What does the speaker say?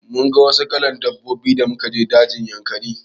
Mun ga wasu kalan dabbobi da muka je dajin Yankari.